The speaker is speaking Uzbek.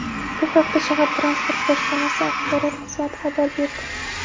Bu haqda shahar Transport boshqarmasi axborot xizmati xabar berdi.